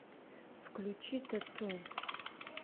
включи тату